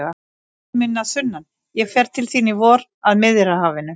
Vinur minn að sunnan, ég fer til þín í vor, að Miðjarðarhafinu.